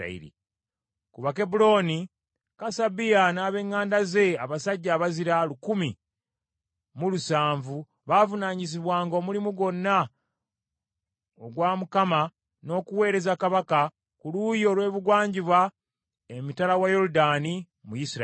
Ku Bakebbulooni, Kasabiya n’ab’eŋŋanda ze abasajja abazira, lukumi mu lusanvu, baavunaanyizibwanga omulimu gwonna gwa Mukama , n’okuweereza kabaka, ku luuyi olw’ebugwanjuba emitala wa Yoludaani mu Isirayiri.